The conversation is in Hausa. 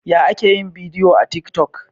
Yaya ake yin bidiyo a tik toc?